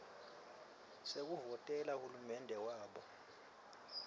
sekuvotela hulumende wabo